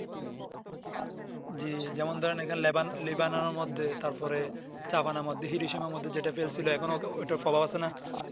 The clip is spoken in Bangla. জি যেমন ধরেন এখানে Leban lebanar মধ্যে তার পরে চা বানানার মধ্যে হিরোশিমার মধ্যে যেটা ফেলছিলো এখন ঐটা ফেলা আছে না